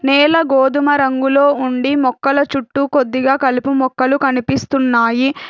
నేల గోధుమ రంగులో ఉండి మొక్కల చుట్టూ కొద్దిగా కలుపు మొక్కలు కనిపిస్తున్నాయి.